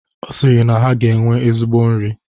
Ọ sịrị na ha ga-enwe ezigbo nri.